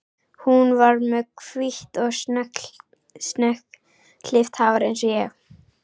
Hún var með hvítt og snöggklippt hár eins og ég.